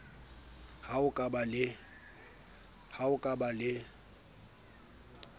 ha o ka ba le